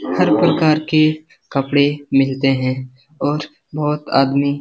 हर प्रकार के कपड़े मिलते हैं और बहुत आदमी --